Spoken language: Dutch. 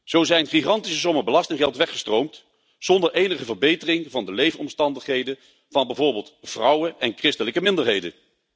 Zo zijn gigantische sommen belastinggeld weggestroomd zonder enige verbetering van de leefomstandigheden van bijvoorbeeld vrouwen en christelijke minderheden.